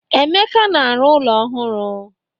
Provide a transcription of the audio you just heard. Emeka na-arụ ụlọ ohụrụ.